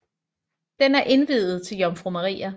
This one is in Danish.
Den er indviet til Jomfru Maria